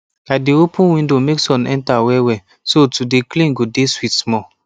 i dey open window make sun enter wellwell so to dey clean go de sweet small